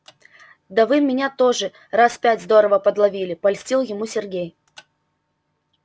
да вы меня тоже раз пять здорово подловили польстил ему сергей